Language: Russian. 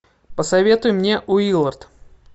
посоветуй мне уиллард